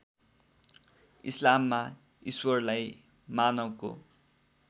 इस्लाममा ईश्वरलाई मानवको